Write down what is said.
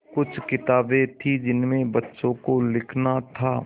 कुछ किताबें थीं जिनमें बच्चों को लिखना था